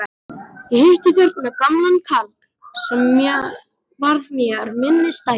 Ég hitti þarna gamlan karl sem varð mér minnisstæður.